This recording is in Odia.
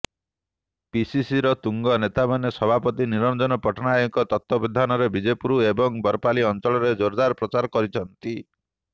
ପିସିସିର ତୁଙ୍ଗ ନେତାମାନେ ସଭାପତି ନିରଂଜନ ପଟ୍ଟନାୟକଙ୍କ ତତ୍ବାବଧାନରେ ବିଜେପୁର ଏବଂ ବରପାଲି ଅଂଚଳରେ ଜୋର୍ଦାର୍ ପ୍ରଚାର କରିଛନ୍ତି